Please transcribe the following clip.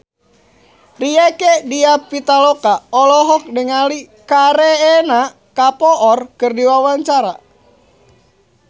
Rieke Diah Pitaloka olohok ningali Kareena Kapoor keur diwawancara